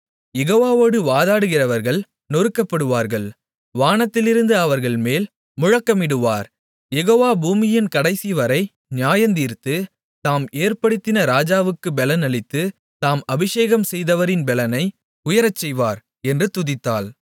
யெகோவாவோடு வாதாடுகிறவர்கள் நொறுக்கப்படுவார்கள் வானத்திலிருந்து அவர்கள்மேல் முழக்கமிடுவார் யெகோவா பூமியின் கடைசிவரை நியாயந்தீர்த்து தாம் ஏற்படுத்தின ராஜாவுக்குப் பெலன் அளித்து தாம் அபிஷேகம் செய்தவரின் பெலனை உயரச்செய்வார் என்று துதித்தாள்